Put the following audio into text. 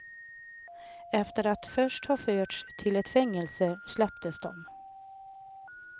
Efter att först ha förts till ett fängelse släpptes de.